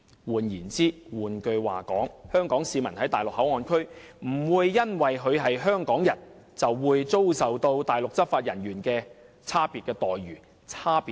換言之，香港市民在內地口岸區內不會因為他是香港人，便遭受內地執法人員的差別待遇和對待。